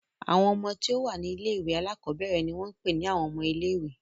Àwọn ọmọ tí ó wà ní ilé-ìwé alákọ̀ọ́bẹ̀rẹ̀ ni wọ́n ń pè ní àwọn ọmọ ilé-ìwé.